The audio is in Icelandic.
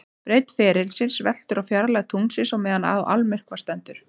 Breidd ferilsins veltur á fjarlægð tunglsins á meðan á almyrkva stendur.